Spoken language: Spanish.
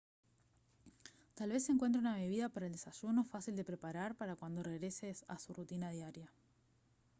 tal vez encuentre una bebida para el desayuno fácil de preparar para cuando regrese a su rutina diaria